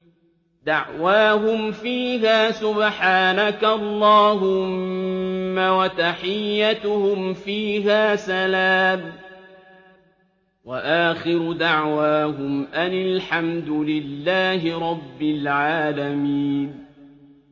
دَعْوَاهُمْ فِيهَا سُبْحَانَكَ اللَّهُمَّ وَتَحِيَّتُهُمْ فِيهَا سَلَامٌ ۚ وَآخِرُ دَعْوَاهُمْ أَنِ الْحَمْدُ لِلَّهِ رَبِّ الْعَالَمِينَ